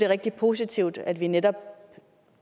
rigtig positivt at vi netop